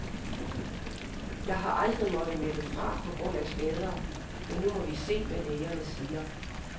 Jeg har aldrig måttet melde fra på grund af skader, men nu må vi se, hvad lægerne siger.